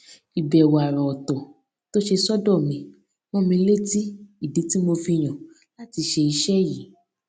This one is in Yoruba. ìbẹ̀wò àrà ọ̀tọ̀ tó ṣe sọ́dọ̀ mi rán mi létí ìdí tí mo fi yàn láti ṣe iṣé yìí